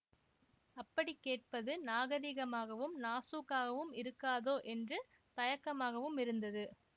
அப்படிக் கேட்பது நாகரிகமாகவும் நாசூக்காகவும் இருக்காதோ என்று தயக்கமாகவும் இருந்தது